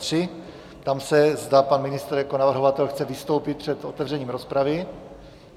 Ptám se, zda pan ministr jako navrhovatel chce vystoupit před otevřením rozpravy.